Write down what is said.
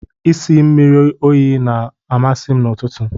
Ịsa mmiri oyi na-amasị m n'ụtụtụ.